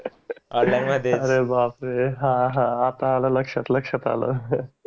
Online मध्ये अरे बापरे हा हा आता आल लक्षात लक्षात आल.